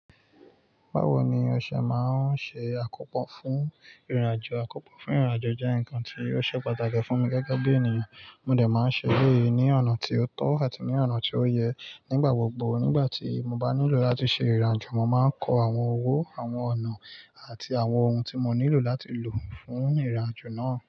Bawo ni ọṣẹ maa n ṣe akopọ fun rinrajo? Akopọ fun rinrajo jẹ nkan ti o ṣe pataki fun mi gẹgẹbi eniyan. Mo dẹ̀ máa n ṣe éléyì ni ọna ti o tọ ati ni ọna ti o yẹ nigbagbogbo. Nigbati mo ba nilo lati ṣe irinajo, mo ma n kọ awọn ọwọ, awọn ọna ati awọn ohun ti mo nilo lati lo fun irinajo naa.